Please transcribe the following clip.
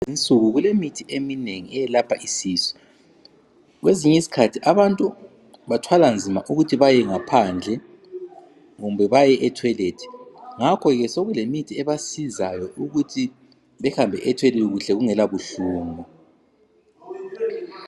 Lezinsuku kulemithi eminengi eyelapha isisu .Kwesinye isikhathi abantu bathwala nzima ukuthi bayengaphandle kumbe baye etoilet. Ngakho ke sokule mithi ebasizayo ukuthi behambe etoilet kuhle kungela buhlungu .